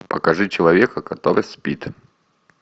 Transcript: покажи человека который спит